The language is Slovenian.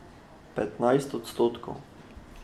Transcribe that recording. Petnajst odstotkov.